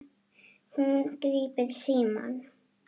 Hún grípur símann.